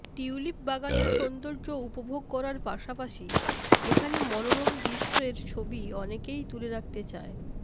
tulip বাগানের সৌন্দর্য্য উপভোগ করার পাশাপাশি এখানে মনোরম দৃশ্যের ছবি অনেকেই তুলে রাখতে চায়